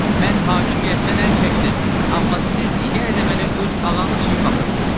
Mən hakimiyyətdən əl çəkdim, amma siz yenə də mənə öz ağanız kimi baxırsınız.